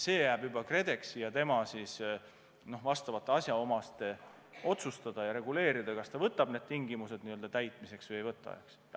See jääb juba KredExi ja tema asjaomaste töötjate otsustada, kas ta võtab need tingimused täitmiseks või ei võta.